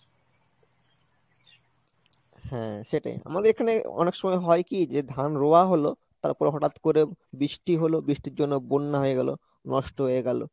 হ্যাঁ সেটাই, আমাদের এখানে অনেক সময় হয় কি যে ধান রোয়া হলো, তারপরে হঠাৎ করে বৃষ্টি হলো, বৃষ্টির জন্য বন্যা হয়ে গেলো, নষ্ট হয়ে গেলো।